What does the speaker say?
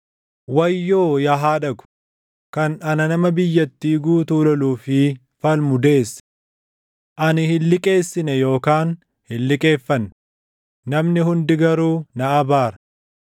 Wayyoo yaa haadha ko, kan ana nama biyyattii guutuu // loluu fi falmu deesse? Ani hin liqeessine yookaan hin liqeeffanne; namni hundi garuu na abaara.